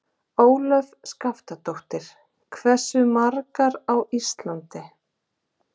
Ólöf Skaftadóttir: Hversu margar á Íslandi?